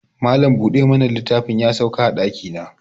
Malam bude mana littafi ya sauka a daki na